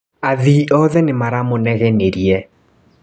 Athii othe nĩ maramũnegenirie.